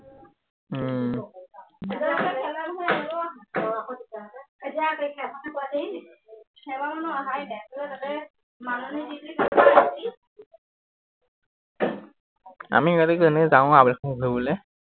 আমি এনেই যাওঁ আৰু আবেলি সময়ত ফুৰিবলে